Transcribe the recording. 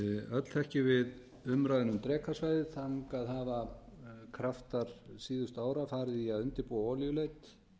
öll þekkjum við umræðuna um drekasvæðið þangað hafa kraftar síðustu ára farið í að undirbúa olíuleit